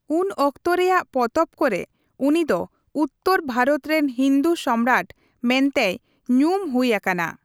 ᱩᱱ ᱚᱠᱛᱚ ᱨᱮᱭᱟᱜ ᱯᱚᱛᱚᱵ ᱠᱚ ᱨᱮ, ᱩᱱᱤᱫᱚ ᱩᱛᱛᱚᱨ ᱵᱷᱟᱨᱚᱛ ᱨᱮᱱ ᱦᱤᱱᱫᱩ ᱥᱚᱢᱨᱟᱴ ᱢᱮᱱᱛᱮᱭ ᱧᱩᱢ ᱦᱩᱭ ᱟᱠᱟᱱᱟ ᱾